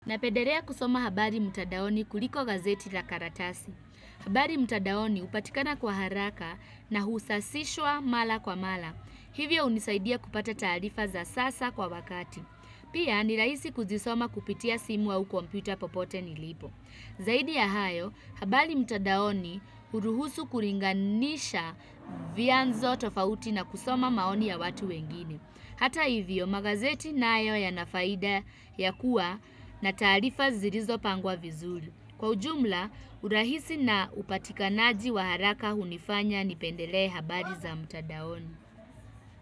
Napederea kusoma habari mtadaoni kuliko gazeti la karatasi. Habari mtadaoni hupatikana kwa haraka na husasishwa mala kwa mala. Hivyo hunisaidia kupata taarifa za sasa kwa wakati. Pia ni raisi kuzisoma kupitia simu au kompyuta popote nilipo. Zaidi ya hayo, habari mtadaoni huruhusu kuringanisha vianzo tofauti na kusoma maoni ya watu wengine. Hata hivyo, magazeti nayo yana faida ya kuwa na tarifa zirizo pangwa vizuli. Kwa ujumla, urahisi na upatikanaji wa haraka hunifanya nipendelee habari za mtadaoni.